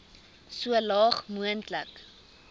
so laag moontlik